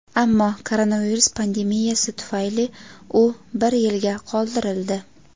ammo koronavirus pandemiyasi tufayli u bir yilga qoldirildi.